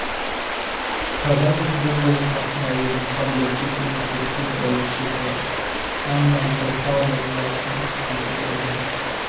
казанцев бұл жолы қасына өзінің келбетті семіз көк көз бәйбішесі анна митрофановнасын ерте келген